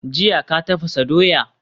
Jiya ka tafasa dawa?